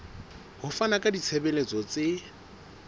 ho fana ka ditshebeletso tse